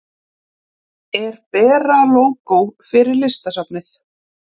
Er Bera lógó fyrir Listasafnið?